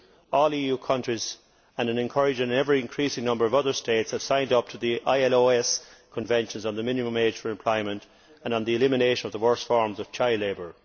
All EU countries and an encouragingly ever increasing number of other states have signed up to the ILO conventions on the minimum age for employment and on the elimination of the worst forms of child labour.